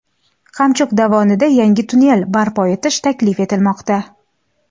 Qamchiq dovonida yangi tunnel barpo etish taklif etilmoqda.